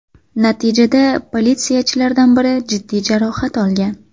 Natijada politsiyachilardan biri jiddiy jarohat olgan.